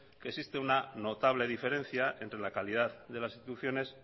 que existe una notable diferencia entre la calidad de las instituciones